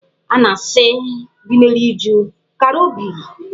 A na-asị ndị na-eri uju "kara obi".